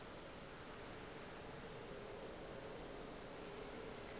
ga go mosadi yo a